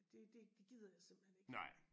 Det det det gider jeg simpelthen ik